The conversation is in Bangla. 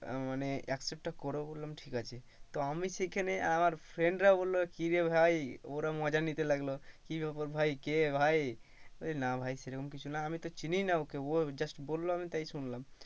মানে accept তা করবো বললাম ঠিক আছে তো আমি সেই খানে friend রা বললো কিরে ভাই ওরা মজা নিতে লাগলো কি বেপার কে ভাই? না ভাই সেরকম কিছু না আমি তো চিনিই না ওকে ও just বললো তাই শুনলাম।